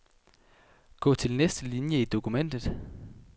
Gå til næste linie i dokumentet.